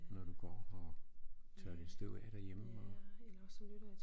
Når du går og tørrer lidt støv af derhjemme og